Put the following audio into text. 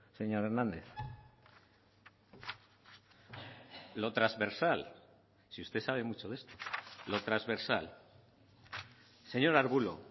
señor hernández lo transversal si usted sabe mucho de esto lo transversal señor arbulo